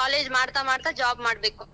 college ಮಾಡ್ತಾ ಮಾಡ್ತಾ job ಮಾಡ್ಬೇಕು.